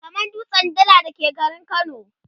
kamar dutsen Dala da ke garin kano